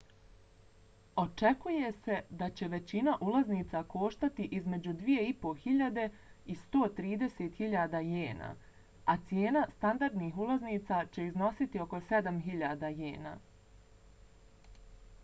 očekuje se da će većina ulaznica koštati između 2.500 i 130.000 jena a cijena standardnih ulaznica će iznositi oko 7.000 jena